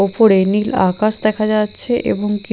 ওপরে নীল আকাশ দেখা যাচ্ছে এবং কি--